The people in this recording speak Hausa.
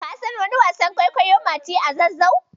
Ka san wani wasan kwaikwayo "Mati a Zazzau"?